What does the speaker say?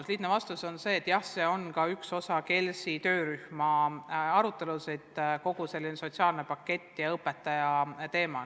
Ja lihtne vastus on, et jah, see on üks osa KELS-i töörühma arutelust – kogu see õpetaja teemaga seostuv sotsiaalne pakett.